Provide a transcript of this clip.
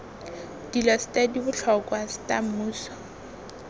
dilo ste dibotlhokwa sta mmuso